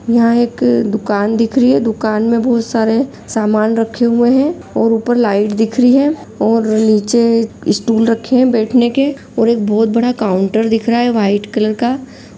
यहाँ एक दुकान दिख रही है दुकान में बहुत सारे समान रखे हुए हैं और ऊपर लाइट दिख रही है और नीचे स्टूल रखे हैं बैठने के और एक बहुत बड़ा काउन्टर दिख रहा है व्हाइट कलर का।